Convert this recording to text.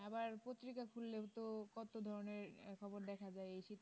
আবার পত্রিকা খুললে তো কত ধরণের খবর দেখা যাই শীতের